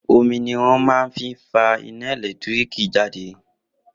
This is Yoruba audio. Omi ni wón máa fi ń fa iná ẹ̀lẹ́tíríkì jáde